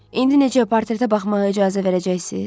İndi necə portretə baxmağa icazə verəcəksiz?